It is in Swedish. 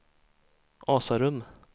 Asarum